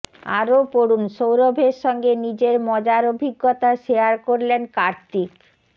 আরও পড়ুন সৌরভের সঙ্গে নিজের মজার অভিজ্ঞতা শেয়ার করলেন কার্তিক